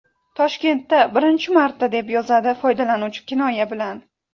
Toshkentda birinchi marta!”, deb yozadi foydalanuvchi kinoya bilan.